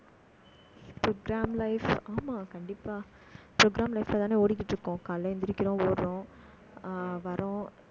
program life ஆமா, கண்டிப்பா. program life லதானே ஓடிக்கிட்டு இருக்கோம். காலையிலே எந்திரிக்கிறோம், ஓடுறோம் ஆஹ் வர்றோம்